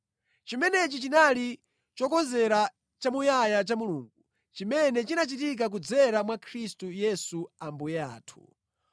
Chimenechi chinali chikonzero chamuyaya cha Mulungu, chimene chinachitika kudzera mwa Khristu Yesu Ambuye athu.